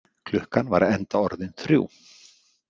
Klukkan var enda orðin þrjú.